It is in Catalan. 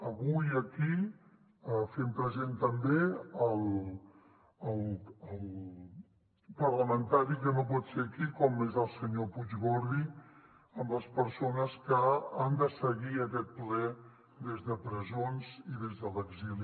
avui aquí fem present també el parlamentari que no pot ser aquí com és el senyor puig gordi amb les persones que han de seguir aquest ple des de presons i des de l’exili